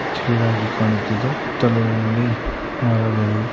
ಚೆನ್ನಾಗಿ ಕಾಣುತ್ತಿದೆ ಮರಗಳು --